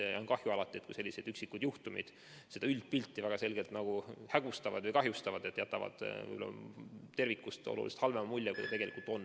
Alati on kahju, kui sellised üksikud juhtumid üldpilti väga selgelt kahjustavad ning jätavad tervikust oluliselt halvema mulje, kui see tegelikult on.